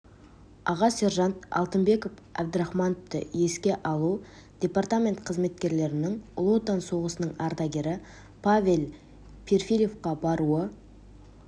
аға сержант алтынбек абдрахмановты еске алу департамент қызметкерлерінің ұлы отан соғысының ардагері павел перфильевқа баруы